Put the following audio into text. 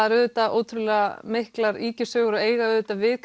er auðvitað ótrúlega mikilar ýkjusögur og eiga auðvitað við